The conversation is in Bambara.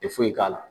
Tɛ foyi k'a la